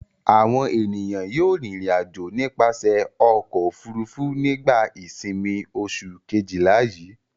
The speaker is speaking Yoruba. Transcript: Àwọn ènìyàn yóò rìnrìn-àjò nípasẹ̀ ọkọ̀-òfurufú nígbà ìsìnmi oṣù kejìlá yii.